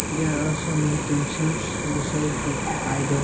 There are some utensils beside the idols.